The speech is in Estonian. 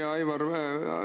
Hea Aivar!